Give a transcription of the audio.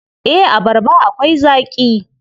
Eh, abarba akwai zaaƙi.